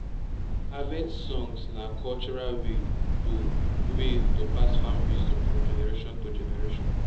harvest songs na cultural way to way to pass farm wisdom from generationto generation